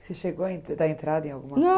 Você chegou a dar entrada em